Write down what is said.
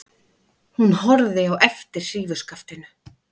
Hún horfði á eftir hrífuskaftinu.